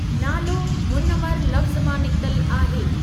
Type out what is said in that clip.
नालो मुनवर लफ़्ज़ु मां निकितल आहे।